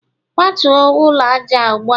kwatuo ụlọ aja a ugbua!